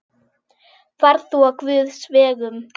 Far þú á Guðs vegum.